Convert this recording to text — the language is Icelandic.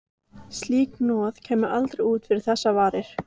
Slíkt hnoð kæmi aldrei út fyrir þess varir.